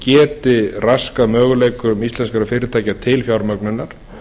geti raskað möguleikum íslenskra fyrirtækja til fjármögnunar